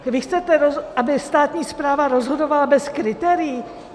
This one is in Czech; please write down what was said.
Vy chcete, aby státní správa rozhodovala bez kritérií?